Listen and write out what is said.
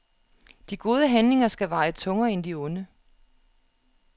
De gode handlinger skal veje tungere end de onde.